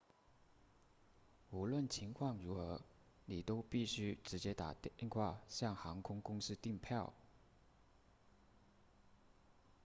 无论情况如何你都必须直接打电话向航空公司订票